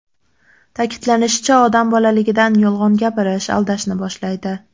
Ta’kidlanishicha, odam bolaligidan yolg‘on gapirish, aldashni boshlaydi.